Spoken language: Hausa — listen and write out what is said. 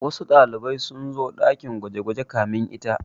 Wasu ɗalibai sun zo ɗakin gwaje-gwaje kamin ita.